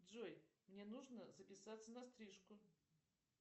джой мне нужно записаться на стрижку